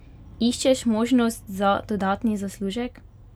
Iščeš možnost za dodatni zaslužek?